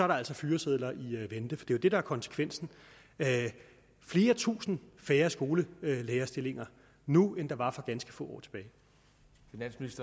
der altså fyresedler i vente for det er jo det der er konsekvensen flere tusind færre skolelærerstillinger nu end der var for ganske få